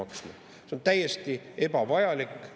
See on täiesti ebavajalik.